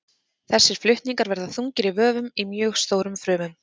Þessir flutningar verða þungir í vöfum í mjög stórum frumum.